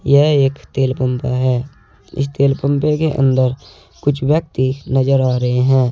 यह एक तेल पंप है इस तेल पंपे के अंदर कुछ व्यक्ति नजर आ रहे हैं।